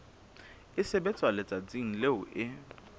e sebetswa letsatsing leo e